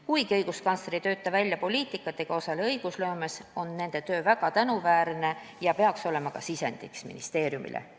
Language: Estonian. Kuigi õiguskantsler ei tööta välja poliitikat ega osale õigusloomes, on see töö väga tänuväärne ja peaks olema ka sisendiks ministeeriumile.